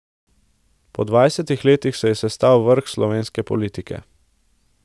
Po dvajsetih letih se je sestal vrh slovenske politike.